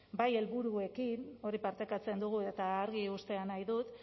bai helburuekin hori partekatzen dugu eta argi uztea nahi dut